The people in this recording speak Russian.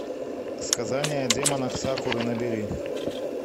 сказание о демонах сакуры набери